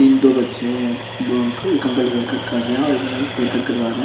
तीन दो बच्चे एर दो अंकल एक अंकल हेयर कट कर रहे हैं और एक अंकल हेयर कट करावा रहे हैं।